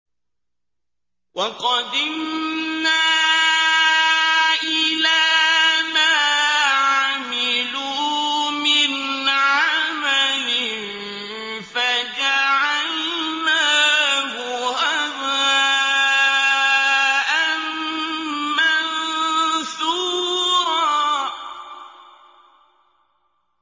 وَقَدِمْنَا إِلَىٰ مَا عَمِلُوا مِنْ عَمَلٍ فَجَعَلْنَاهُ هَبَاءً مَّنثُورًا